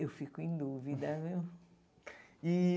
Eu fico em dúvida, viu? E